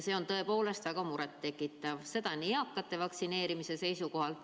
See on tõepoolest väga muret tekitav, seda ka eakate vaktsineerimise seisukohalt.